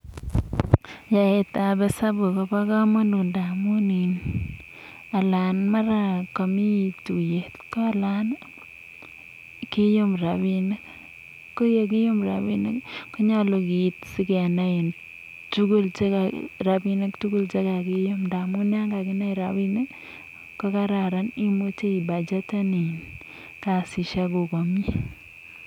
yaet ab esabuk ko ba kamut amu yami tuyet ko nyalu keum rabinik. ko yakium ko nyalu keit si tugul ndamu yakakium rabinik ko much ibachetan kasisiekuk komiei